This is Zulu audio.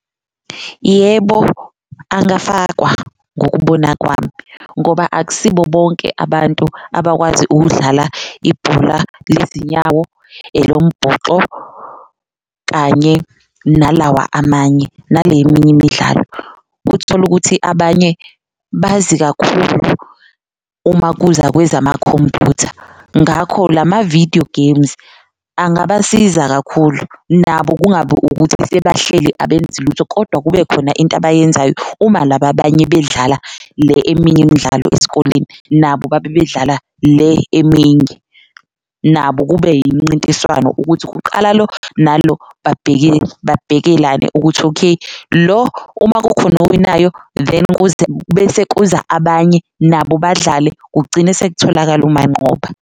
Yebo, angafakwa ngokubona kwami ngoba akusibo bonke abantu abakwazi ukudlala ibhola lezinyawo, elombhoxo kanye nalawa amanye, nale eminye imidlalo. Uthole ukuthi abanye bazi kakhulu uma kuza kwezamakhompuyutha ngakho lama-video games angabasiza kakhulu, nabo kungabi ukuthi sebahleli abenzi lutho kodwa kube khona into abayenzayo. Uma laba abanye bedlala le eminye imidlalo esikoleni nabo babe bedlala le eminye, nabo kube imncintiswano ukuthi kuqala lo nalo babhekelane ukuthi, okay lo uma kukhona owinayo then kuze bese kuza abanye nabo badlale kugcine sekutholakale umanqoba.